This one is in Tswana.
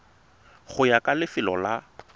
go ya ka lefelo la